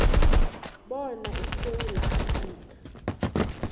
bona isewula afrika